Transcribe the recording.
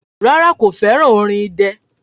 Rárá, kò fẹ́ràn orin idẹ.